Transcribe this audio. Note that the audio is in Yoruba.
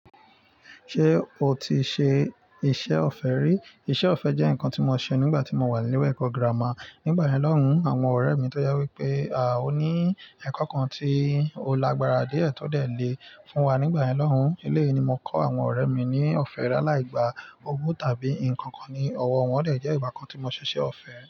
Ṣé o ti ṣe iṣẹ́ ọ̀fẹ́ rí? Iṣẹ́ ọ̀fẹ́ jẹ́ nǹkan tí mo ṣe nígbà tí mo wà ní ilé ẹ̀kọ́ gírámà. Nígbàyẹn lọ́hùn, àwọn ọ̀rẹ́ mi tọ́ je wípé, à ó ní ẹ̀kọ́ kan tí ó lágbára díẹ̀ tó de le fún wa. Nígbàyẹn lọ́hùn, eléyìí ni mo kọ́ àwọn ọ̀rẹ́ mi ní ọ̀fẹ́ làlá ìgbà owó tàbí nǹkan kan ní ọwọ́ wọn. Ó dè jẹ́ ìgbà kan tí mo ṣe iṣẹ́ ọ̀fẹ́